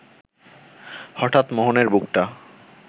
হঠাৎ মোহনের বুকটা